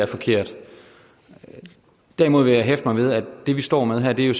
forkert derimod vil jeg hæfte mig ved at det vi står med her jo